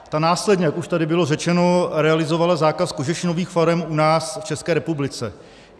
Ta následně, jak už tady bylo řečeno, realizovala zákaz kožešinových farem u nás v České republice.